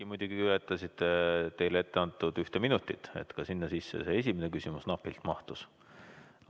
Te muidugi ületasite teile ette antud ühte minutit, sinna sisse ka see esimene küsimus napilt mahtus.